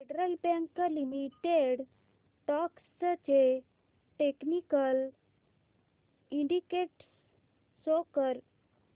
federal Bank Limited stocks चे technical indicators show कर